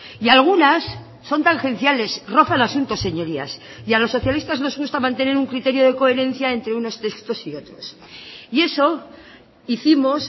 y algunas son tangenciales roza el asunto señorías y a los socialistas nos gusta mantener un criterio de coherencia entre unos textos y otros y eso hicimos